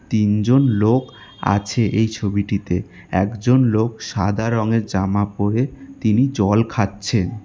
তিনজন লোক আছে এই ছবিটিতে একজন লোক সাদা রংয়ের জামা পরে তিনি জল খাচ্ছেন।